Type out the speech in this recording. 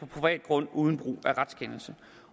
privat grund uden brug af en retskendelse